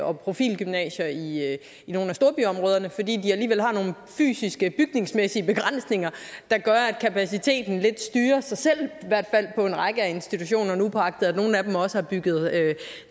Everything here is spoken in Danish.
og profilgymnasier i nogle af storbyområderne fordi de alligevel har nogle fysiske bygningsmæssige begrænsninger der gør at kapaciteten lidt styrer sig selv i hvert fald på en række af institutionerne upåagtet at nogle af dem også har bygget